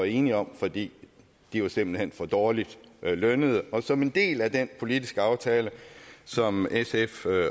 enige om fordi de simpelt hen var for dårligt lønnede og som en del af den politiske aftale som sf